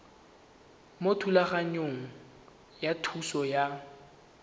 mo thulaganyong ya thuso y